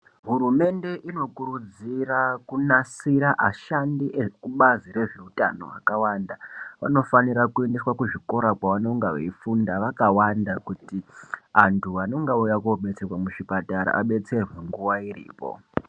Hurumende inokurudzida kunasira ashandi ekubazi rezveutano akawanda anofanira kuendeswa kuzvikora kwavanenge eifunda akawanda kuti antu anonga auya kudetserwa muzvipatara adetserwe nguwa iripo.